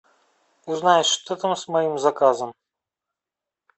узнай что там с моим заказом